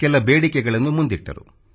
ಕೆಲ ಬೇಡಿಕೆಗಳನ್ನು ಮುಂದಿಟ್ಟರು